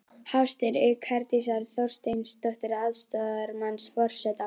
Hafstein, auk Herdísar Þorsteinsdóttur, aðstoðarmanns forseta.